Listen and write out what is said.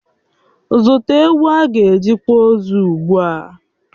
Zụta ewu ágà eji kwà ozu ugbua!